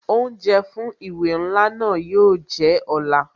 Oúnjẹ fún ìwé ńlá náà yo jẹ́ ọ̀la